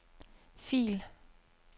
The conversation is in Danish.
fil